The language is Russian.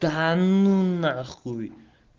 да ну на хуй